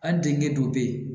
Hali denkɛ dɔ bɛ yen